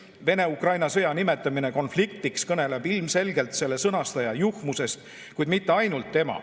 Venemaa-Ukraina sõja nimetamine konfliktiks kõneleb ilmselgelt sõnastaja juhmusest, kuid mitte ainult.